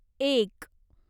एक